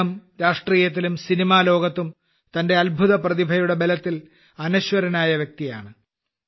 അദ്ദേഹം രാഷ്ട്രീയത്തിലും സിനിമാലോകത്തും തന്റെ അത്ഭുതപ്രതിഭയുടെ ബലത്തിൽ അനശ്വരനായ വ്യക്തിയാണ്